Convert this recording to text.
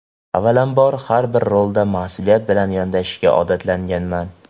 Avvalambor har bir rolga mas’uliyat bilan yondashishga odatlanganman.